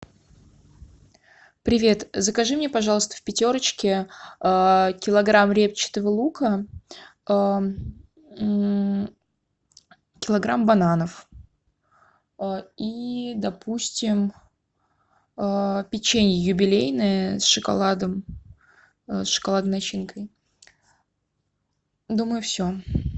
привет закажи мне пожалуйста в пятерочке килограмм репчатого лука килограмм бананов и допустим печенье юбилейное с шоколадом с шоколадной начинкой думаю все